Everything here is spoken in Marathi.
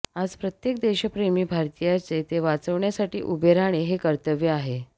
आज प्रत्येक देशप्रेमी भारतीयाचे ते वाचवण्यासाठी उभे राहणे हे कर्तव्य आहे